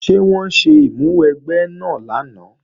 Ṣé wọ́n ṣe ìmúwẹgbẹ́ náà lánàá?